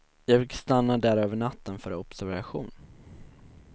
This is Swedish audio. Jag fick stanna där över natten för observation.